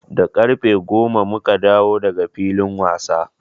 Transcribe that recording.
Da ƙarfe goma mu ka dawo da ga filin wasa.